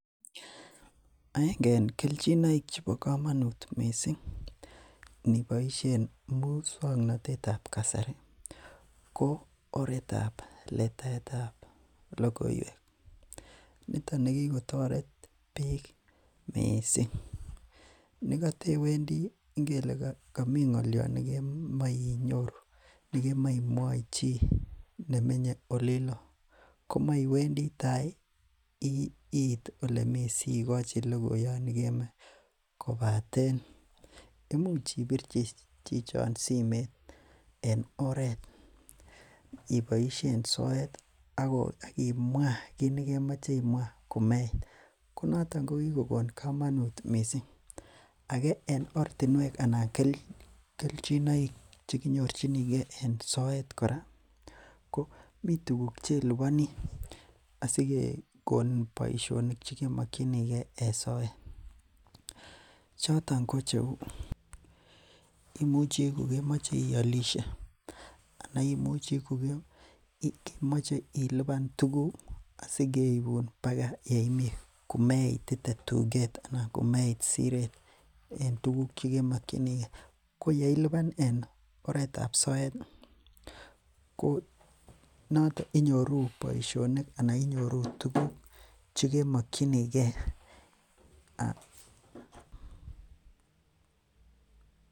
Aenge en kelchinoek chebo komanut missing ko iniboishen mukswanotetab kasari ih ko oretab letaetab logoiwek. Nito nekikotoret bik missing. Nekataiwendi ingele kami ng'alian nekomache inyoru ih , nekemae imwai chi , nemenye olilo, komaiwendi atai siit olemi ssikochi logoyaat nekemae imwachi. Kobaten imuche ibirchi chichon simeet en oret iboisien soet akimwa kit nekemache imwaa komeit. Ko niton ki kokon kamanut missing. Age en ortinuek anan kelchinoek cheki nyorchinige en soet kora mi tuguk cheilubani asi kekonin boisionik chekemokinige. Choton ko cheuu imuche kokemache ialishe anan imuche kokemache iluban tukuk asikeibun baka yeimii. Komeit tuget anan komeit Siret. En tuguk chemokinige ko yeiluban en oretab soetih ko noto inyoru boisionik anan tuguk chemokinige.